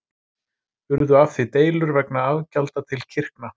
Urðu af því deilur vegna afgjalda til kirkna.